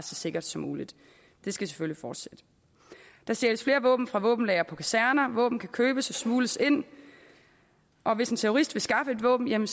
så sikker som muligt det skal selvfølgelig fortsætte der stjæles flere våben fra våbenlagre på kaserner våben kan købes og smugles ind og hvis en terrorist vil skaffe et våben kan